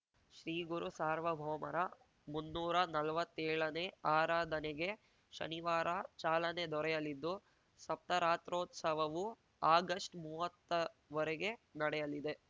ಶ್ರೀಗುರುಸಾರ್ವಭೌಮರ ಮುನ್ನೂರ ನಲ್ವತ್ತೇಳನೇ ಆರಾಧನೆಗೆ ಶನಿವಾರ ಚಾಲನೆ ದೊರೆಯಲಿದ್ದು ಸಪ್ತರಾತ್ರೋತ್ಸವವು ಆಗಷ್ಟ್ಮೂವತ್ತ ವರೆಗೆ ನಡೆಯಲಿದೆ